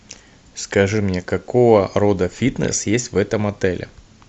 скажи мне какого рода фитнес есть в этом отеле